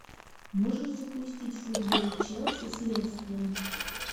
можешь запустить футбол челси с лестером